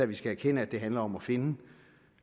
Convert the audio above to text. vi skal erkende at det handler om at finde